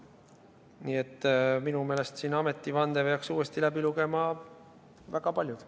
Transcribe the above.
Nii et minu meelest peaks siin ametivande uuesti läbi lugema väga paljud.